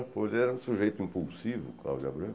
Ele era um sujeito impulsivo, o Cláudio Abreu.